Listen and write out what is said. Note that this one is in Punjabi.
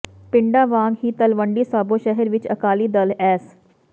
ਪਿੰਡਾਂ ਵਾਂਗ ਹੀ ਤਲਵੰਡੀ ਸਾਬੋ ਸ਼ਹਿਰ ਵਿੱਚ ਅਕਾਲੀ ਦਲ ਐੱਸ